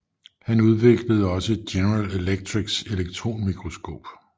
Han udviklede også General Electrics elektronmikroskop